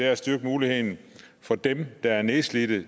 at styrke muligheden for dem der er nedslidte